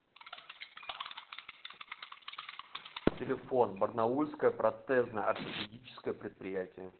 телефон барнаульское протезно ортопедическое предприятие